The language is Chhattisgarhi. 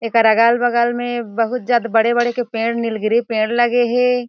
एकर अगल-बगल में बहुत ज्यादा बड़े-बड़े के पेड़ में नील गिरी पेड़ लगे हे।